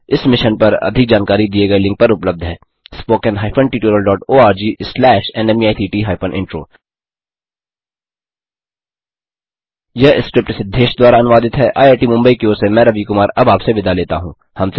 इस मिशन पर अधिक जानकारी दिए गए लिंक पर उपलब्ध है httpspoken tutorialorgNMEICT Intro यह स्क्रिप्ट सिद्धेश द्वारा अनुवादित है आईआईटी मुम्बई की ओर से मैं रवि कुमार अब आपसे विदा लेता हूँ